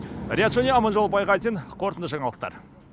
риат шони аманжол байғазин қорытынды жаңалықтар